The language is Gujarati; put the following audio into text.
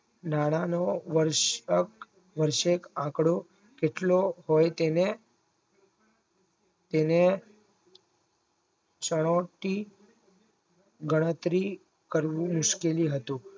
નાણાંનો વર્ષ વર્શક આંકડો એટલો હોય તેને તેને ચટી ગણતરી કરવી મુશ્કેલી હતું